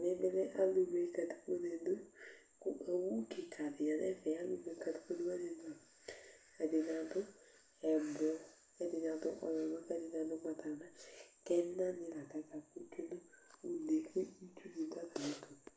ɛmɛ bi lɛ alo wle katikpone do kò owu keka di ya no ɛfɛ alo wle katikpone wani do ɛdini ado ublɔ k'ɛdini adu ɔwlɔmɔ k'ɛdini adu ugbata wla k'ɛna ni la k'aka kò tsue no une kò itsu di do atami ɛto